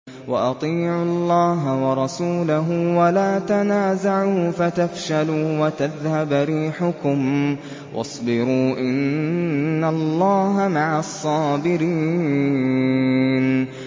وَأَطِيعُوا اللَّهَ وَرَسُولَهُ وَلَا تَنَازَعُوا فَتَفْشَلُوا وَتَذْهَبَ رِيحُكُمْ ۖ وَاصْبِرُوا ۚ إِنَّ اللَّهَ مَعَ الصَّابِرِينَ